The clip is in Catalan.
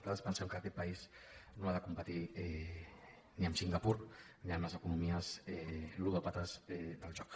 nosaltres pensem que aquest país no ha de competir ni amb singapur ni amb les economies ludòpates del joc